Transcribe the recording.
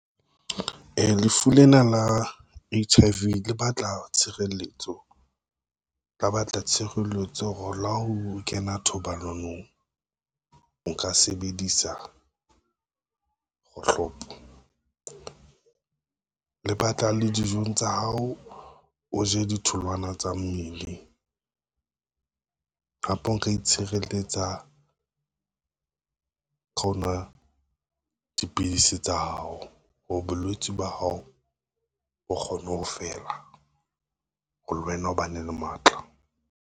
Lefu lena la H_I_V le batla tshireletso, ka batla tshireletso hore la ho kena thobalanong, o ka sebedisa kgohlopo. Le batla le dijong tsa hao, o je ditholwana tsa mmele, hape o nka itshireletsa ka ho nwa dipidisi tsa hao hore bolwetse ba hao, o kgone ho fela ho le wena o ba ne le matla.